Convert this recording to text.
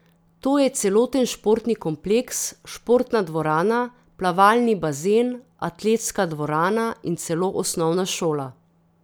To je celoten športni kompleks, športna dvorana, plavalni bazen, atletska dvorana in celo osnovna šola.